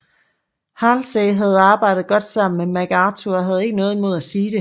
Halsey havde arbejdet godt sammen med MacArthur og havde ikke noget imod at sige det